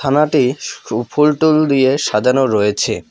থানাটি সু ফুলটুল দিয়ে সাজানো রয়েছে।